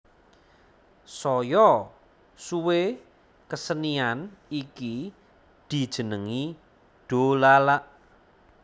Saya suwé kesenian iki dijenengi dolalak